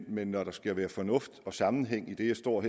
men når der skal være fornuft og sammenhæng i det jeg står